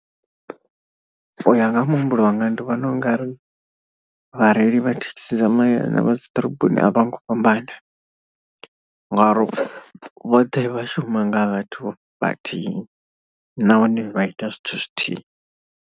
U ya nga ha muhumbulo wanga ndi vhona u nga ri vhareili vha thekhisi dza mahayani na vha dzi ḓoroboni a vho ngo fhambana. Ngori vhoṱhe vha shuma nga vhathu vhathihi nahone vha ita zwithu zwithihi.